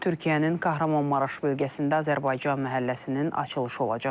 Bu gün Türkiyənin Qəhrəmanmaraş bölgəsində Azərbaycan məhəlləsinin açılışı olacaq.